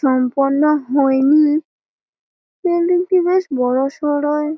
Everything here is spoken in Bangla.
সম্পূর্ণ হয় নি বিল্ডিংটি বেশ বড়োসড়ো।